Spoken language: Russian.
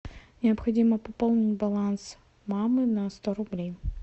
необходимо пополнить баланс мамы на сто рублей